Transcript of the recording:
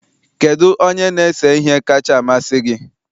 Kedu onye na-ese ihe kacha amasị gị?